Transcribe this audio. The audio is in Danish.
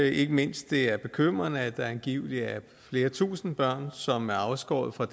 ikke mindst det er bekymrende at der angiveligt er flere tusinde børn som er afskåret fra